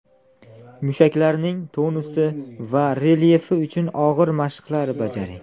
Mushaklarning tonusi va relyefi uchun og‘ir mashqlar bajaring”.